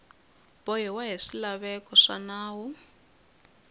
bohiwa hi swilaveko swa nawu